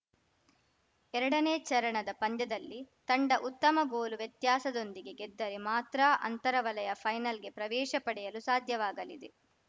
ಎರಡನೇ ಚರಣದ ಪಂದ್ಯದಲ್ಲಿ ತಂಡ ಉತ್ತಮ ಗೋಲು ವ್ಯತ್ಯಾಸದೊಂದಿಗೆ ಗೆದ್ದರೆ ಮಾತ್ರ ಅಂತರ ವಲಯ ಫೈನಲ್‌ಗೆ ಪ್ರವೇಶ ಪಡೆಯಲು ಸಾಧ್ಯವಾಗಲಿದೆ